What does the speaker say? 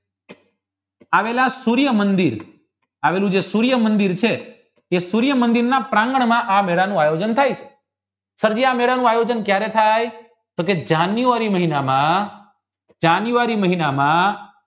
આવેલા સૂર્ય મંદિર આવેલું જે સૂર્ય મંદિર છે તે સૂર્યમંદિર પ્રાંગણ માં આ મેળા નું આયોજન થાય છે સદીયા મેળાનું આયોજન કયારે થાય તો કી જાન્યુઆરી મહિનામાં જાન્યુઆરી મહિનામાં